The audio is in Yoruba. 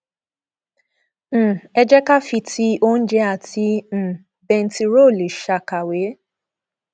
um ẹ jẹ ká fi ti oúnjẹ àti um bẹntiróòlù ṣàkàwé